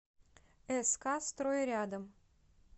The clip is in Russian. ск строй рядом